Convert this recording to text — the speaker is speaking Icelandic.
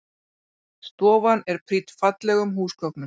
Stofan er prýdd fallegum húsgögnum